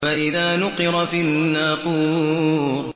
فَإِذَا نُقِرَ فِي النَّاقُورِ